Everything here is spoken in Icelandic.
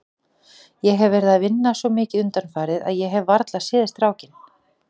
Ég hef verið að vinna svo mikið undanfarið að ég hef varla séð strákinn.